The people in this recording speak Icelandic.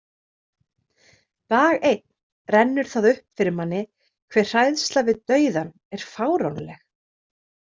Dag einn rennur það upp fyrir manni hve hræðsla við dauðann er fáránleg.